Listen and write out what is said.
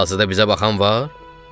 Hal-hazırda bizə baxan var?